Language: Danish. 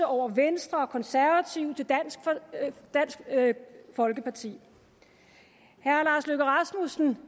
over venstre og konservative til dansk folkeparti herre lars løkke rasmussen